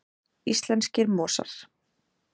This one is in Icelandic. Íslenskir mosar.